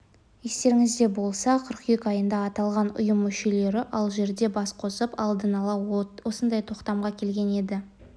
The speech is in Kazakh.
естеріңізде болса қыркүйек айында аталған ұйым мүшелері алжирде бас қосып алдын ала осындай тоқтамға келген еді